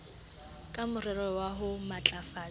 ka morero wa ho matlafatsa